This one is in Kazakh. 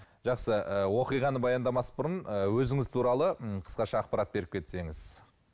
жақсы ы оқиғаны баяндамас бұрын ы өзіңіз туралы м қысқаша ақпарат беріп кетсеңіз